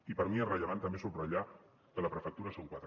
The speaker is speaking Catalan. i per mi és rellevant també subratllar que la prefectura són quatre